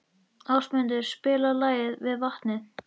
Ásmundur, spilaðu lagið „Við vatnið“.